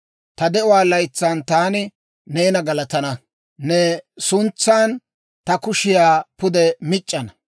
Ta de'uwaa laytsan taani neena galatana; ne suntsan ta kushiyaa pude mic'c'ana.